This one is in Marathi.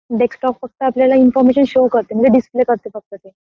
डेस्कटॉप फक्त आपल्याला इन्फॉर्मेशन शो करते म्हणजे डिस्प्ले करते फक्त ते